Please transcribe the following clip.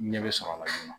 Ɲɛ bɛ sɔrɔ a la